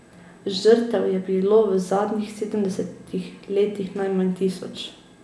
Žrtev je bilo v zadnjih sedemdesetih letih najmanj tisoč.